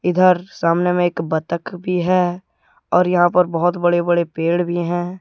इधर सामने में एक बत्तख भी है और यहां पर बहुत बड़े बड़े पेड़ भी हैं।